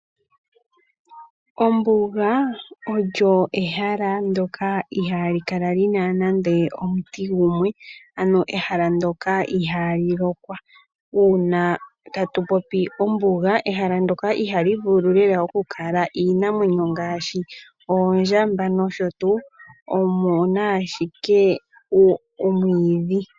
Ombuga olyo ehala ndoka ihali kala lyina nande omuti gumwe ano ehala ndoka ihali lokwa. Uuna tatu popi ombuga ehala ndoka ihali vulu lela okukala iinamwenyo ngaashi, oondjamba noshotu omuna ashike omwiidhi.